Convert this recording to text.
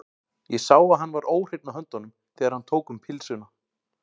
Ég sá að hann var óhreinn á höndunum, þegar hann tók um pylsuna.